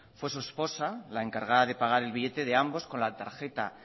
fue su esposa la encargada de pagar el billete de ambos con la tarjeta